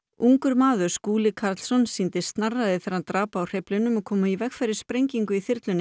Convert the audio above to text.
ungur maður Skúli Karlsson sýndi snarræði þegar hann drap á hreyflinum og kom í veg fyrir sprengingu í þyrlunni